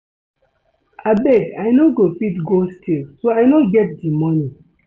Abeg I no go fit go steal so I no get the money